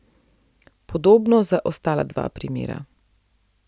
Podobno za ostala dva primera.